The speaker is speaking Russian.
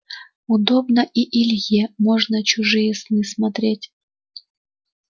удобно и илье можно чужие сны смотреть